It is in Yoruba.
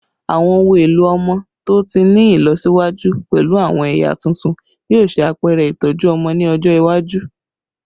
Awọn ohun elo ọmọ to ti ni ilọsiwaju pẹlu awọn ẹya tuntun yoo ṣe apẹrẹ itọju ọmọ ni ọjọ iwaju